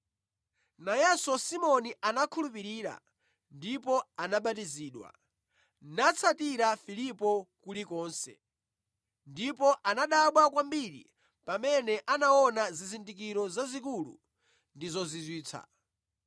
Nayenso Simoni anakhulupirira ndipo anabatizidwa, natsatira Filipo kulikonse, ndipo anadabwa kwambiri pamene anaona zizindikiro zazikulu ndi zozizwitsa.